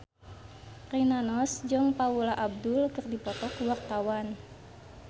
Rina Nose jeung Paula Abdul keur dipoto ku wartawan